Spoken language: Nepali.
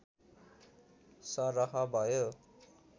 सरह भयो